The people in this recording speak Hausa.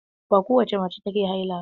Ba kowace mace take haila ba.